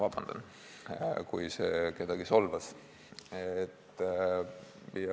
Vabandust, kui see kedagi solvas.